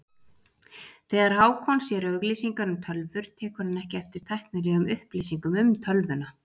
Þegar Hákon sér auglýsingar um tölvur tekur hann ekki eftir tæknilegum upplýsingum um tölvuna.